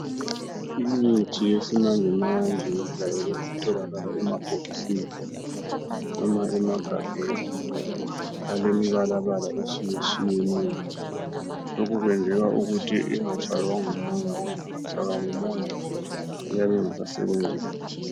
Imithi yesimanje manje ijayele ukutholakala emabhokisini noma emagabheni alemibala bala etshiyeneyo lokhu kwenzelwa ukuthi ingatshaywa ngumoya, ngoba ingatshaywa ngumoya iyabe ingasasebenzi kuhle.